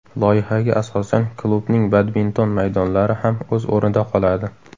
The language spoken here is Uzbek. Loyihaga asosan, klubning badminton maydonlari ham o‘z o‘rnida qoladi.